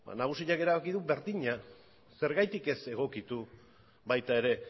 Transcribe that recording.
nagusiak erabaki du berdina zergatik ez egokitu baita ere